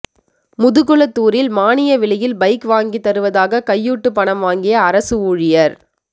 முதுகுளத்தூரில் மானிய விலையில் பைக் வாங்கித்தருவதாக கையூட்டு பணம் வாங்கிய அரசு ஊழியா்